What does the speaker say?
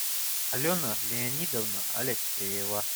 алена леонидовна алексеева